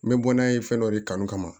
N bɛ bɔ n'a ye fɛn dɔ de kanu kama